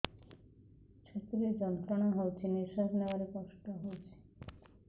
ଛାତି ରେ ଯନ୍ତ୍ରଣା ହଉଛି ନିଶ୍ୱାସ ନେବାରେ କଷ୍ଟ ହଉଛି